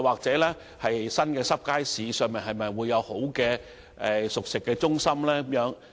新的"濕貨街市"內會否有環境較好的熟食中心？